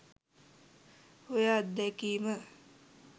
ඔය අත්දැකිම